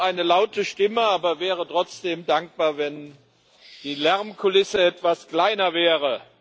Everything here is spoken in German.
Ich habe eine laute Stimme, wäre aber trotzdem dankbar, wenn die Lärmkulisse etwas kleiner wäre.